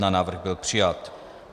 Návrh byl přijat.